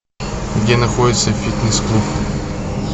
где находится фитнес клуб